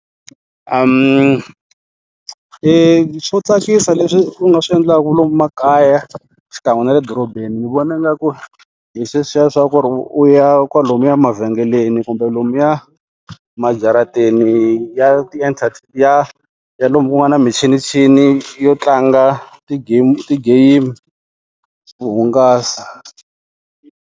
Eya swo tsakisa leswi u nga swi endlaka lomu makaya xikan'we na le dorobeni ni vona ngaku hi sweswiya swa ku ri u ya kwalomuya mavhengeleni kumbe lomuya majarateni ya ti ya ya lomu kungana michinichini yo tlanga ti-game to hungasa.